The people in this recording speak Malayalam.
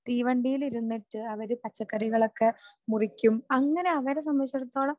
തീവണ്ടിയിലിരുന്നിട്ട് അവർ പച്ചക്കറികളൊക്കെ മുറിക്കും.അങ്ങനെ അവരെ സംബന്ധിച്ചിടത്തോളം